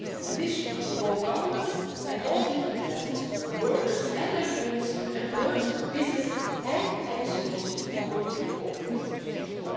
This should involve governments at all different levels, workers and their unions, employers, businesses and NGOs to work and cooperate together.